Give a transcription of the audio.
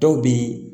Dɔw bɛ